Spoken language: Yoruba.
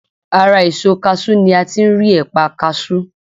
Ara èso kaṣú ni a ti ń rí ẹ̀pà kaṣú.